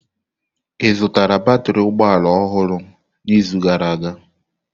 Ị zutara batrị ụgbọ ala ọhụrụ n'izu gara aga?